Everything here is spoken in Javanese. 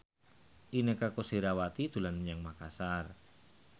Inneke Koesherawati dolan menyang Makasar